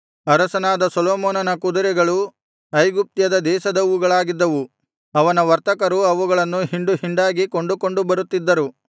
ಅರಸನಾದ ಸೊಲೊಮೋನನ ಕುದುರೆಗಳು ಐಗುಪ್ತ್ಯ ದೇಶದವುಗಳಾಗಿದ್ದವು ಅವನ ವರ್ತಕರು ಅವುಗಳನ್ನು ಹಿಂಡು ಹಿಂಡಾಗಿ ಕೊಂಡುಕೊಂಡು ಬರುತ್ತಿದ್ದರು